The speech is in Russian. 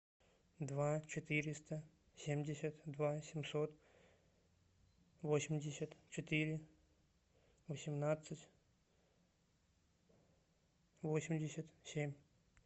два четыреста семьдесят два семьсот восемьдесят четыре восемнадцать восемьдесят семь